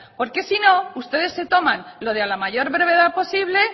porque sino ustedes se toman lo de a la mayor brevedad posible